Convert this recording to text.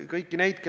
Hea peaminister!